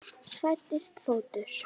Fæddist fótur.